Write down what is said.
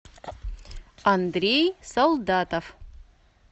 андрей солдатов